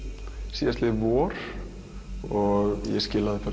síðastliðið vor ég skilaði